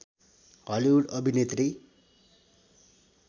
Hollywood अभिनेत्री